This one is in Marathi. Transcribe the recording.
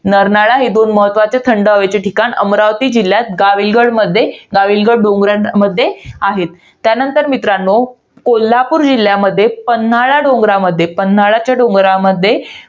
नरनाळा. हे दोन महत्वाचे थंड हवेचे ठिकाण, अमरावती जिल्ह्यात गाविलगडमध्ये, गाविलगड डोंगरामध्ये आहेत. त्यानंतर मित्रांनो, कोल्हापूर जिल्ह्यामध्ये पन्हाळा डोंगरामध्ये. पन्हाळाच्या डोंगरामध्ये